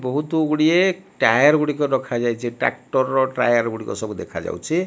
ବହୁତ ଗୁଡ଼ିଏ ଟାୟାର ଗୁଡିକ ରଖାଯାଇଚି ଟ୍ରାକ୍ଟର ର ଟାୟାର ଗୁଡିକ ସବୁ ଦେଖାଯାଉଛି।